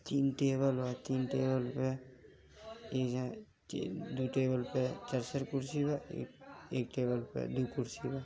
तीन टेबल बा तीन टेबल पे इ जा दो टेबल पर चार चार कुर्सी बा एक टेबल पर दो कुर्सी बा।